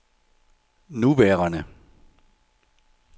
nuværende